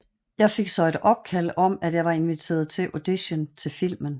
Jeg fik så et opkald om at jeg var inviteret til audition til filmen